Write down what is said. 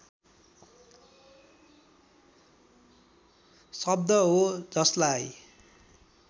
शब्द हो जसलाई